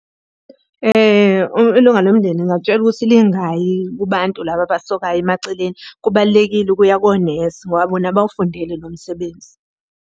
Ilunga lomndeni ngingalitshela ukuthi lingayi kubantu laba abasokayo emaceleni, kubalulekile ukuya konesi ngoba bona bawufundele lo msebenzi.